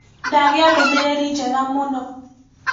Ndagĩa ndũmĩrĩri njega mũno.